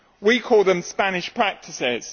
We call them Spanish practices.